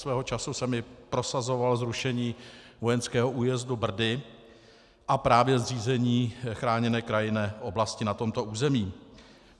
Svého času jsem i prosazoval zrušení vojenského újezdu Brdy a právě zřízení chráněné krajinné oblasti na tomto území.